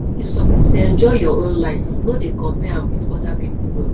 you suppose dey enjoy your own life no dey compare am wit oda pipo own